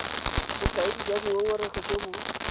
bokaedi jwa dingongorego jo bo